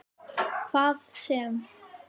Hvað sem